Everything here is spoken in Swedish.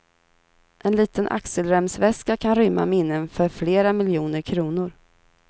En liten axelremsväska kan rymma minnen för flera miljoner kronor.